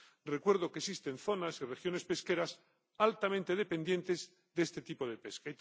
Recuerdo que existen zonas y regiones pesqueras altamente dependientes de este tipo de pesca.